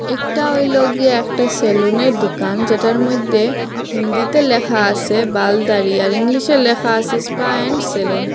একটা হইল গিয়া একটা সেলুনের দুকান যেটার মইদ্যে হিন্দিতে ল্যাখা আসে বাল দাড়ি আর ইংলিশে ল্যাখা আসে স্পা এন্ড সেলুন ।